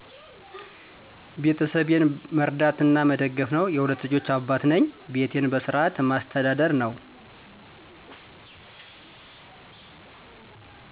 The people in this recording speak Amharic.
ቤተሰቤን መርዳት እና መደገፍ ነው። የሁለት ልጆች አባት ነኝ እና ቤቴን በስርዓት ማስተዳደር ነው።